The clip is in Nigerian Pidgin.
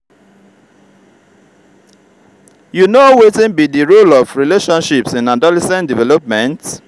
you know wetin be di role of relationships in adolescent development?